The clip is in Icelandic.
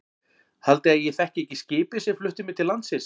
Haldið þið að ég þekki ekki skipið sem flutti mig til landsins.